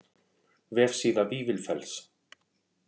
Vefsíða Vífilfells.